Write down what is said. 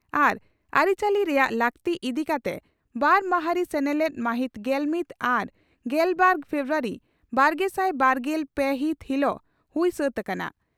ᱟᱨ ᱟᱹᱨᱤ ᱪᱟᱹᱞᱤ ᱨᱮᱭᱟᱜ ᱞᱟᱹᱠᱛᱤ' ᱤᱫᱤ ᱠᱟᱛᱮ ᱵᱟᱨ ᱢᱟᱦᱟᱸᱨᱤ ᱥᱮᱱᱮᱞᱮᱫ ᱢᱟᱦᱤᱛ ᱜᱮᱞᱢᱤᱛ ᱟᱨ ᱜᱮᱞᱵᱟᱨ ᱯᱷᱮᱵᱨᱩᱣᱟᱨᱤ ᱵᱟᱨᱜᱮᱥᱟᱭ ᱵᱟᱨᱜᱮᱞ ᱯᱮ ᱦᱤᱛ ᱦᱤᱞᱚᱜ ᱦᱩᱭ ᱥᱟᱹᱛ ᱟᱠᱟᱱᱟ ᱾